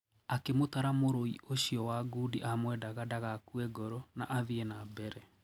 Akimũtara mũrũi ũcio wa ngundi amwendaga ndagakuee ngoro na athie na mbere.